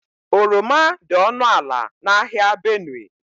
Oroma dị ọnụ ala n'ahịa Benue.